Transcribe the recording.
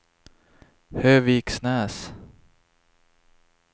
Höviksnäs